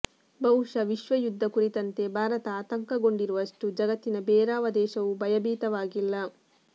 ಬಹುಶಃ ವಿಶ್ವಯುದ್ಧ ಕುರಿತಂತೆ ಭಾರತ ಆತಂಕಗೊಂಡಿರುವಷ್ಟು ಜಗತ್ತಿನ ಬೇರಾವ ದೇಶವೂ ಭಯಭೀತವಾಗಿಲ್ಲ